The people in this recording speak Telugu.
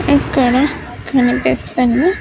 ఇక్కడ కనిపిస్తున్న.